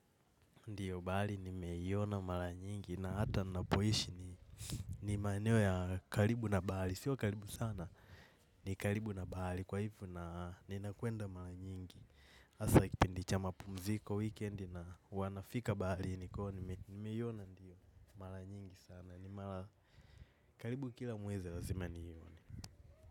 Ndiyo bahali nimeiona mara nyingi na hata napoishi ni maeneo ya kalibu na bahali, sio kalibu sana, ni kalibu na bahali kwa hivo na nina kwenda mara nyingi, asa kipindicha mapumziko weekendi na wanafika bali niko, nimeiona ndiyo mara nyingi sana, ni mara karibu kila mwezi lazima niione.